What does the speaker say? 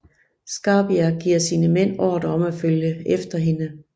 Scarpia giver sine mænd ordre om at følge efter hende